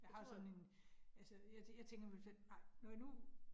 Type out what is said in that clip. Jeg har sådan en, altså jeg jeg tænker om 5, ej når jeg nu